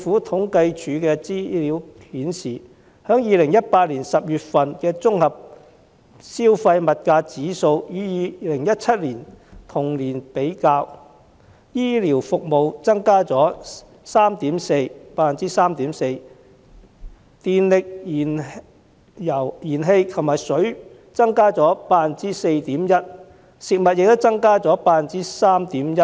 統計處的資料顯示，把2018年10月份的綜合消費物價指數與2017年同月的數字比較，醫療服務的價格增加了 3.4%， 電力、燃氣及食水的價格增加了 4.1%， 食品的價格亦增加了 3.1%。